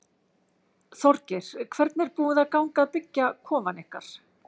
Þorgeir: Hvernig er búið að ganga að byggja kofann ykkar?